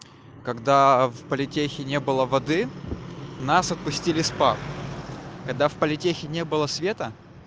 когда в политехе не было воды нас отпустили с пар когда в политехе не было света